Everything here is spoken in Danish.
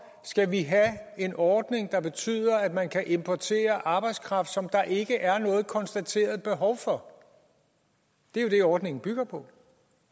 skal vi have en ordning der betyder at man kan importere arbejdskraft som der ikke er noget konstateret behov for det er jo det ordningen bygger på